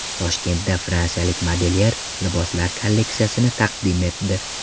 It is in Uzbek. Toshkentda fransiyalik modelyer liboslar kolleksiyasini taqdim etdi.